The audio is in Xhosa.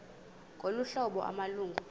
ngolu hlobo amalungu